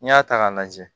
N'i y'a ta k'a lajɛ